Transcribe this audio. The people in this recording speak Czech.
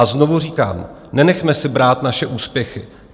A znovu říkám, nenechme si brát naše úspěchy.